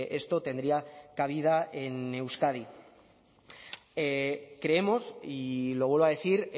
esto tendría cabida en euskadi creemos y lo vuelvo a decir